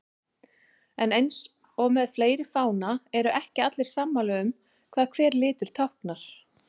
En eins og með fleiri fána eru ekki allir sammála um hvað hver litur táknar.